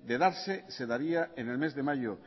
de darse se daría en el mes de mayo